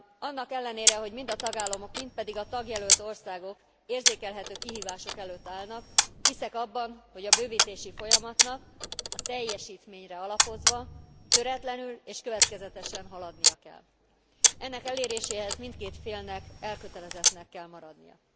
Annak ellenére, hogy mind a tagállamok, mind pedig a tagjelölt országok érzékelhető kihívások előtt állnak, hiszek abban, hogy a bővítési folyamatnak a teljesítményre alapozva töretlenül és következetesen haladnia kell. Ennek eléréséhez mindkét félnek elkötelezettnek kell maradnia.